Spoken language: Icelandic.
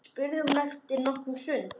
spurði hún eftir nokkra stund.